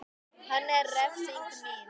Hann er refsing mín.